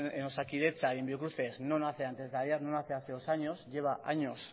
en osakidetza y en biocruces no nace antesdeayer no nace hace dos años lleva años